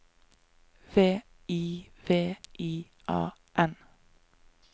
V I V I A N